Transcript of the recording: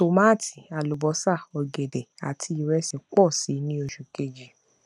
tòmátì àlùbósà ògèdè àti ìrẹsì pọ síi ní oṣù kejì